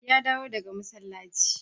Ya dawo daga masallaci.